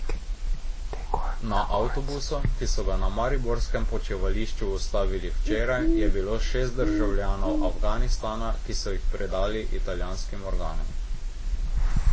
Na avtobusu, ki so ga na mariborskem počivališču ustavili včeraj, je bilo šest državljanov Afganistana, ki so jih predali italijanskim organom.